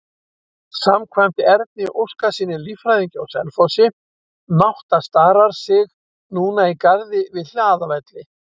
Samkvæmt Erni Óskarssyni, líffræðingi á Selfossi, nátta starar sig núna í garði við Hlaðavelli.